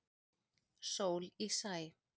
Sól í sæ.